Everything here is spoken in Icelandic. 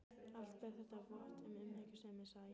Allt ber þetta vott um umhyggjusemi, sagði ég.